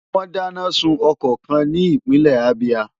Wọ́n dáná sun ọkọ̀ kan ní ìpínlẹ̀ Abia.